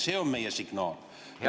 See on meie signaal.